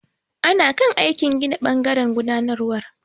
Ana kan aikin gina ɓangaren gudanarwar.